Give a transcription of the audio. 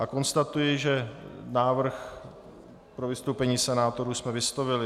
A konstatuji, že návrh pro vystoupení senátorů jsme vyslovili.